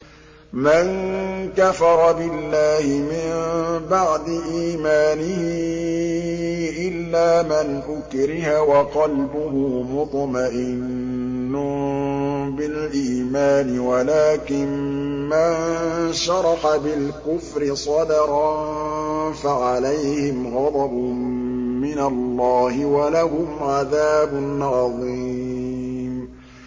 مَن كَفَرَ بِاللَّهِ مِن بَعْدِ إِيمَانِهِ إِلَّا مَنْ أُكْرِهَ وَقَلْبُهُ مُطْمَئِنٌّ بِالْإِيمَانِ وَلَٰكِن مَّن شَرَحَ بِالْكُفْرِ صَدْرًا فَعَلَيْهِمْ غَضَبٌ مِّنَ اللَّهِ وَلَهُمْ عَذَابٌ عَظِيمٌ